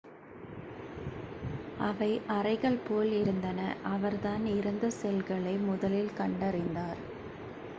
அவை அறைகள் போல இருந்தன அவர்தான் இறந்த செல்களை முதலில் கண்டறிந்தார்